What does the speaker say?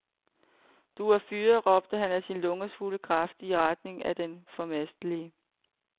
Du er fyret, råber han af sine lungers fulde kraft i retning af den formastelige.